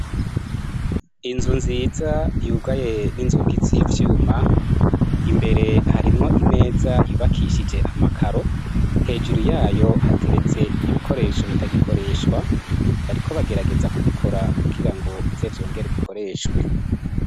Inzu nziza yugaye ninzungi z'ivyuma, imbere harimwo imeza yubakishije amakaro hejuru yayo hateretse ibikoresho bitagikoreshwa, bariko bagerageza kubikora kugira bize vyongere gukoreshwa.